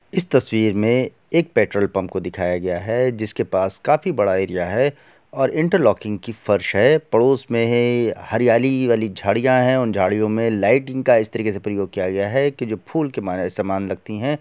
इस तस्वीर में एक पेट्रोल पम्प को दिखाया गया है जिस के पास काफी बड़ा एरिया है और इंटर लॉकिंग की फर्श है पड़ोस में है हरियाली वाली झाड़ियाँ हैं उन झाड़ियों में लाइटींग का इस तरीके से प्रयोग किया गया है की जो फूल के म समान लगतीं हैं।